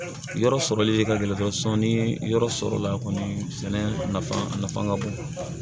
Yɔrɔ sɔrɔli ka gɛlɛn sɔnni yɔrɔ sɔrɔla kɔni sɛnɛ nafa ka bon